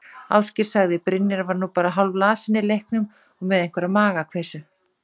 Ásgeir sagði: Brynjar var nú bara hálflasinn í leiknum og með einhverja magakveisu.